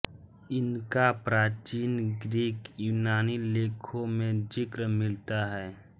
इनका प्राचीन ग्रीक यूनानी लेखों में ज़िक्र मिलता है